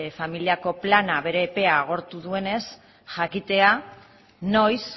familiako plana bere epea agortu duenez jakitea noiz